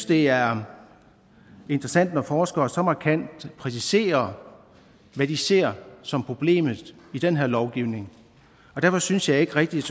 det er interessant når forskere så markant præciserer hvad de ser som problemet i den her lovgivning og derfor synes jeg ikke rigtigt